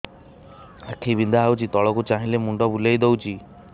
ଆଖି ବିନ୍ଧା ହଉଚି ତଳକୁ ଚାହିଁଲେ ମୁଣ୍ଡ ବୁଲେଇ ଦଉଛି